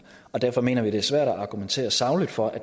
og derfor mener vi det er svært at argumentere sagligt for at